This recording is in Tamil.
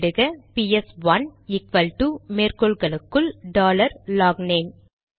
உள்ளிடுக பிஎஸ்1 ஈக்வல்டு மேற்கோள்களுக்குள் டாலர் லாக்னேம்